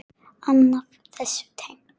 Annað þessu tengt.